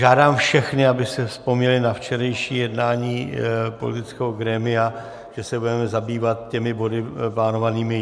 Žádám všechny, aby si vzpomněli na včerejší jednání politického grémia, že se budeme zabývat těmi body plánovanými.